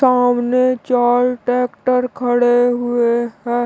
सामने चार ट्रैक्टर खड़े हुए है।